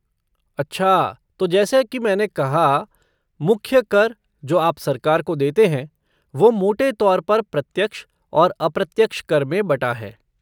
अच्छा तो जैसा की मैंने कहा मुख्य कर जो आप सरकार को देते हैं वो मोटे तौर पर प्रत्यक्ष और अप्रत्यक्ष कर में बटा है।